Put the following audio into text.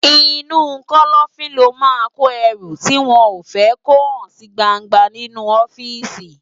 Inú kòlòfin lò má n kó èrú tiwòn fè kó hán si gbángbá ninú òfìsí